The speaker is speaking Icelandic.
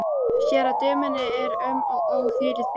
Sér að dömunni er um og ó, hvílík bjartsýni!